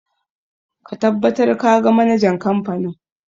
Ka tabbata ka ga manajan kamfanin!